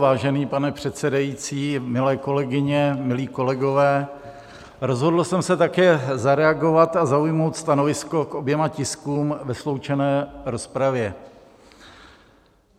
Vážený pane předsedající, milé kolegyně, milí kolegové, rozhodl jsem se také zareagovat a zaujmout stanovisko k oběma tiskům ve sloučené rozpravě.